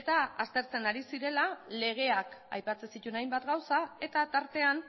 eta aztertzen ari zirela legeak aipatzen zituen hainbat gauza eta tartean